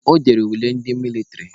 Ọ dere ule ndị mịlịtrị.